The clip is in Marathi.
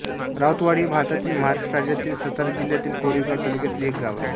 राऊतवाडी हे भारतातील महाराष्ट्र राज्यातील सातारा जिल्ह्यातील कोरेगाव तालुक्यातील एक गाव आहे